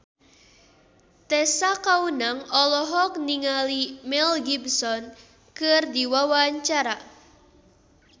Tessa Kaunang olohok ningali Mel Gibson keur diwawancara